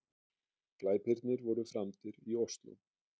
Glæpirnir voru framdir í Ósló